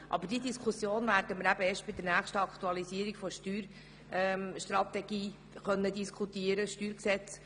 Aber diese Diskussion werden wir erst bei der nächsten Aktualisierung der Steuerstrategie diskutieren können.